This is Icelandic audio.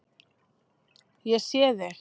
Ég sé þig.